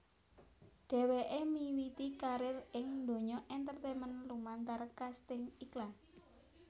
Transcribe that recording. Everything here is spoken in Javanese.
Dheweké miwiti karir ing donya entertainment lumantar kasting iklan